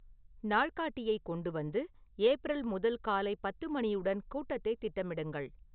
நாள்காட்டியைக் கொண்டு வந்து ஏப்ரல் முதல் காலை பத்து மணியுடன் கூட்டத்தை திட்டமிடுங்கள்